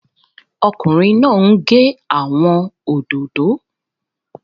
Ọkùnrin náà n gé àwọn òdòdó